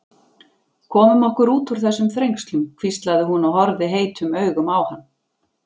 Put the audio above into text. Komum okkur út úr þessum þrengslum hvíslaði hún og horfði heitum augum á hann.